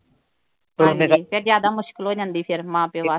ਹਾਂਜੀ ਫਿਰ ਜਿਆਦਾ ਮੁਸ਼ਕਿਲ ਹੋ ਜਾਂਦੀ ਮਾਂ ਪਿਓ ਵਾਸਤੇ।